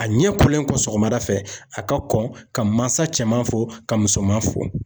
A ɲɛ kɔlen kɔ sɔgɔmada fɛ, a ka kɔn ka mansa cɛman fo, ka musoman fo.